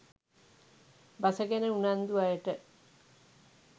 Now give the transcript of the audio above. බස ගැන උනන්දු අයට